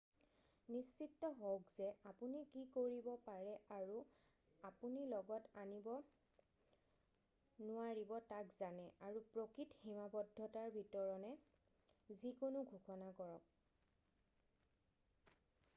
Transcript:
নিশ্চিত হওক যে আপুনি কি কৰিব পাৰে আৰু আপুনি লগত আনিব নোৱাৰিব তাক জানে আৰু প্ৰকৃত সীমাবদ্ধতাৰ ভিতৰণে যিকোনো ঘোষণা কৰক